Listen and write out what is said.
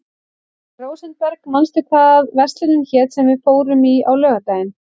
Rósenberg, manstu hvað verslunin hét sem við fórum í á laugardaginn?